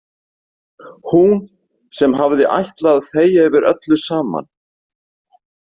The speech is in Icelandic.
Hún sem hafði ætlað að þegja yfir öllu saman.